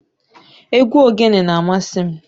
Egwu ogene na-amasị m.